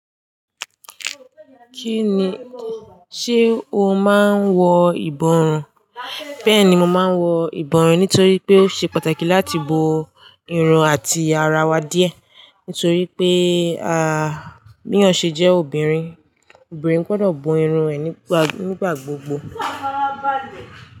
Kí ni, ṣe o máa ń wọ ìbọrùn? Bẹ́ẹ̀ni mo màá wọ ìbọrùn, nítorí pé ó ṣe pàtàkì láti bo irun àti ara wa díẹ̀. Nítorí pé, a, bí èyán ṣe jẹ́ obìnrin, obìnrin gbọ́dọ̀ bo irun ẹ nígbà, nígbà gbogbo.